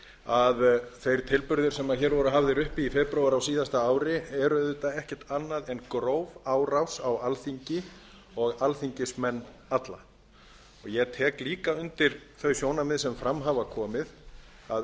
að þeir tilburðir sem hér voru hafðir uppi í febrúar á síðasta ári eru auðvitað ekkert annað en gróf árás á alþingi og alþingismenn alla og ég tek líka undir þau sjónarmið sem fram hafa komið að